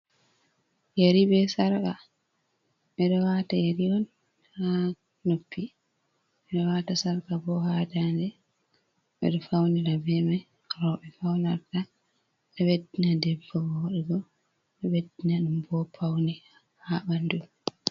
Yeri be sarƙa, ɓe ɗo waata yeri, on haa noppi, ɓe ɗo waata sarƙa, bo haa daande, ɓe ɗo faunira be mai, rooɓe be faunarta ɗo ɓeddina debba wodugo, ɗo ɓeddina ɗum bo paune haa ɓandu.